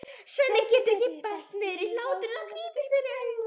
Svenni getur ekki bælt niðri hláturinn og grípur fyrir augun.